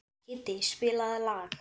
Kiddi, spilaðu lag.